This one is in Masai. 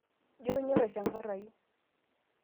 jio inyorr aishangarru